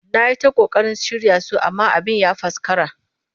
Na yi ta ƙoƙarin shirya su amma abin ya faskara